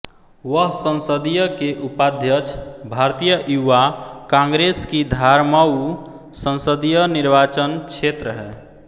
वह संसदीय के उपाध्यक्ष भारतीय युवा कांग्रेस की धारमऊ संसदीय निर्वाचन क्षेत्रहै